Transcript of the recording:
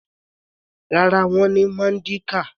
Rárá, wọ́n ní Mandinka.